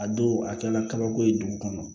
A don a kɛla kabako ye dugu kɔnɔ